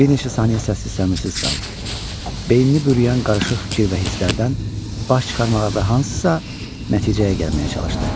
Bir neçə saniyə səssiz-səmirsiz qaldı, beynini bürüyən qarışıq fikir və hisslərdən baş çıxarmağa və hansısa nəticəyə gəlməyə çalışdı.